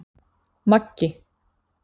Maggi